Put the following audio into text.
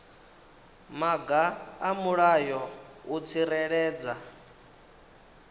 maga a mulayo u tsireledza